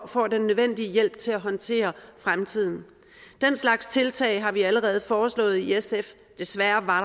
får den nødvendige hjælp til at håndtere fremtiden den slags tiltag har vi allerede foreslået i sf desværre var